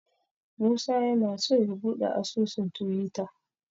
Musa yana so ya buɗe asusun Tiwita.